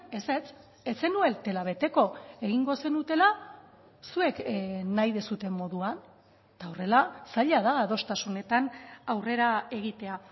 ezetz ez zenutela beteko egingo zenutela zuek nahi duzuen moduan eta horrela zaila da adostasunetan aurrera egitea